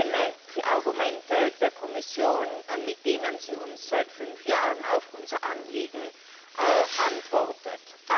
Ich kenne die Argumente der Kommission, mit denen sie uns seit fünf Jahren auf unser Anliegen antwortet.